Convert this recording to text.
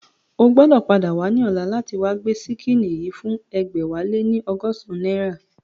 O gbọ́dọ̀ padà wá ní ọ̀la láti wá gbé ṣíkìnnì yìí fún ẹgbẹ̀wáléní ọgọ́san náírà